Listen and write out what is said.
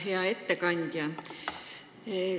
Hea ettekandja!